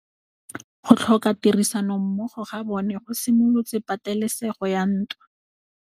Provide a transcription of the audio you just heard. Go tlhoka tirsanommogo ga bone go simolotse patêlêsêgô ya ntwa.